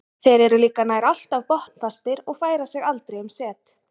Þeir eru líka nær alltaf botnfastir og færa sig aldrei um set.